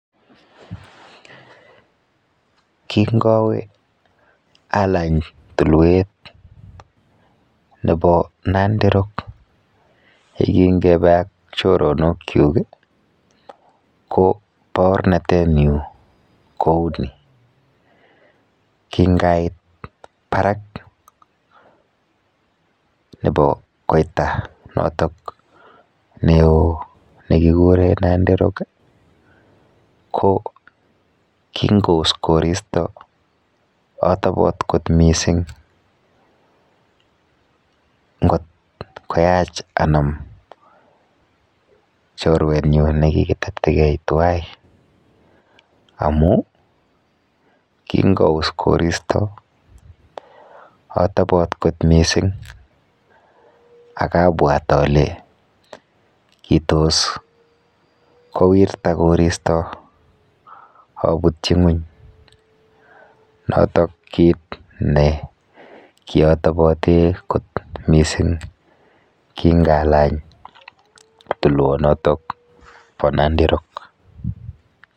Kingowe alany tulwet nepo Nandi rock yekingepe ak choronokchuk ko baornatenyu kou ni; Kingait barak nepo koita notok neo nekikure Nandi rock ko kingous koristo atobot kot mising ngot koyach anam chorwenyu nekikitetegei tuwai amu kingous koristo atobot kot mising akabwat ale kitos kowirta koristo abutchi ng'uny, notok kit ne kiatobote kot mising kingalany tulwonotok po Nandi rock.